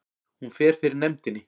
Hún fer fyrir nefndinni